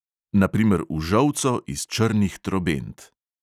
Na primer v žolco iz črnih trobent.